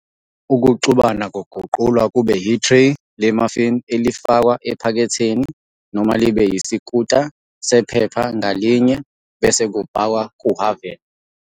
Ukuxubana kuguqulwa kube ithreyi le-muffin elifakwa ephaketheni, noma libe isikhunta sephepha ngalinye, bese kubhakwa kuhhavini.